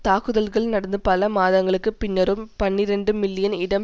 தாக்குதல்கள் நடந்து பல மாதங்களுக்கு பின்னரும் பனிரண்டு மில்லியன் இடம்